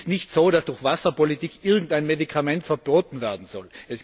Es ist nicht so, dass durch Wasserpolitik irgendein Medikament verboten werden soll.